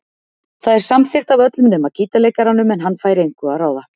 Það er samþykkt af öllum nema gítarleikaranum en hann fær engu að ráða.